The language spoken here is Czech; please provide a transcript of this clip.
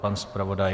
Pan zpravodaj?